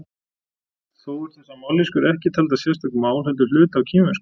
þó eru þessar mállýskur ekki taldar sérstök mál heldur hluti af kínversku